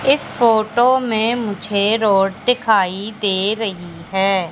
इस फोटो में मुझे रोड दिखाई दे रही है।